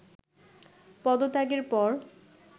পদত্যাগের পর